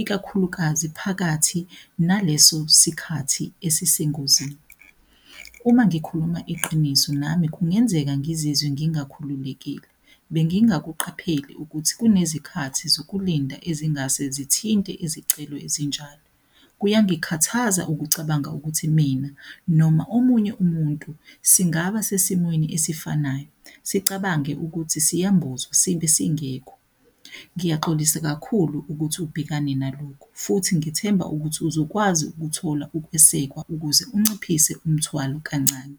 ikakhulukazi phakathi naleso sikhathi asisengozini. Uma ngikhuluma iqiniso nami kungenzeka ngizizwe ngingakhululekile. Bengingakuqapheli ukuthi kunezikhathi zokulinda ezingase sithinte izicelo ezinjalo. Kuyangikhathaza ukucabanga ukuthi mina noma omunye umuntu singaba sesimweni esifanayo sicabange ukuthi siyambozwa sibe singekho. Ngiyaxolisa kakhulu ukuthi ubhekane nalokhu futhi ngithemba ukuthi uzokwazi ukuthola ukwesekwa ukuze unciphise umthwalo kancane.